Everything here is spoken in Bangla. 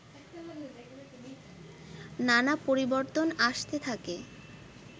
নানা পরিবর্তন আসতে থাকে